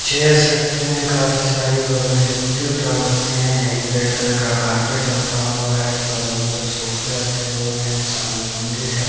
Chairs रखी हुई है काफी सारी बगल में जूते उतार रखे हैं एक रेड कलर का कारपेट रखा हुआ है बगल में ऊधर सोफे रखे हुए हैं सामने मंदिर है।